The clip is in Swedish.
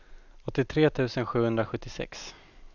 åttiotre tusen sjuhundrasjuttiosex